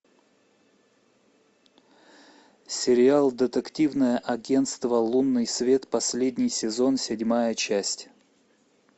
сериал детективное агентство лунный свет последний сезон седьмая часть